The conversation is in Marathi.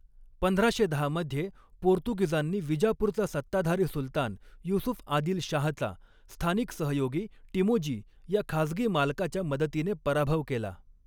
पंधराशे दहा मध्ये, पोर्तुगीजांनी विजापूरचा सत्ताधारी सुलतान युसूफ आदिल शाहचा, स्थानिक सहयोगी टिमोजी या खाजगी मालकाच्या मदतीने पराभव केला.